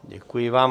Děkuji vám.